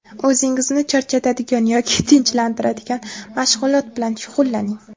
o‘zingizni charchatadigan yoki tinchlantiradigan mashg‘ulot bilan shug‘ullaning.